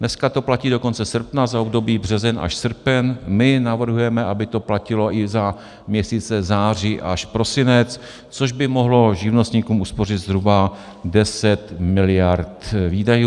Dneska to platí do konce srpna za období březen až srpen, my navrhujeme, aby to platilo i za měsíce září až prosinec, což by mohlo živnostníkům uspořit zhruba 10 miliard výdajů.